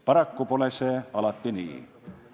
Paraku pole see alati nii.